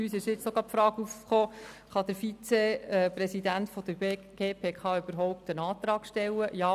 Uns ist auch gerade die Frage in den Sinn gekommen, ob der Vizepräsident der GPK überhaupt einen Antrag stellen kann.